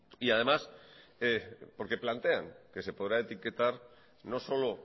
y además porque plantean que se podrá etiquetar no solo